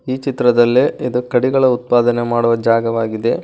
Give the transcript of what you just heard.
ಈ ಚಿತ್ರದಲ್ಲೆ ಇದು ಕಡಿಗಳ ಉತ್ಪಾದನೆ ಮಾಡುವ ಜಾಗವಾಗಿದೆ.